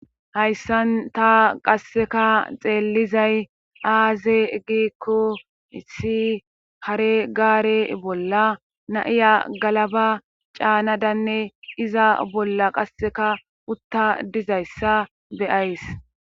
Hayssan ta qasseka xeellizay aaze giikko issi hare gaare bolla naiya galaba caanadanne iza bolla qasseka utta dizayssa beyays.